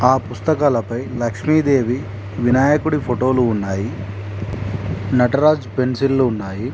ఆ పుస్తకాలపై లక్ష్మీదేవి వినాయకుడి ఫోటో లు ఉన్నాయి. నటరాజ్ పెన్సిల్ లు ఉన్నాయి.